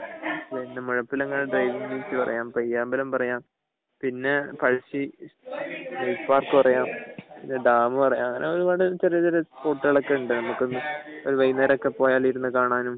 Muzhappilangad driving beach പറയാം പയ്യാമ്പലം പറയാം പിന്നെ പഴശ്ശി പാർക്ക് പറയാം പിന്നെ ഡാം പറയാം പിന്നെ അങ്ങനെ ഒരുപാട് ചെറിയ സ്പോട്ടുകൾ ഉണ്ട് വൈകുന്നേരം ഒക്കെ പോയാല് ഇരുന്നു കാണാനും